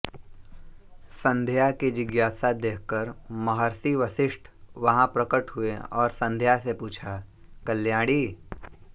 सन्ध्या की जिज्ञासा देखकर महर्षि वसिष्ठ वहाँ प्रकट हुए और सन्ध्या से पूछा कल्याणी